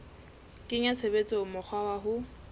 kenya tshebetsong mokgwa wa ho